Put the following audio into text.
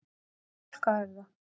Fálkahöfða